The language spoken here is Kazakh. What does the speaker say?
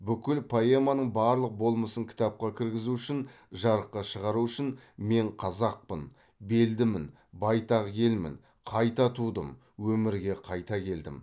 бүкіл поэманың барлық болмысын кітапқа кіргізу үшін жарыққа шығару үшін мен қазақпын белдімін байтақ елмін қайта тудым өмірге қайта келдім